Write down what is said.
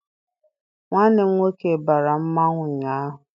Nwanne m nwoke bara mmanwụ ụnyaahụ.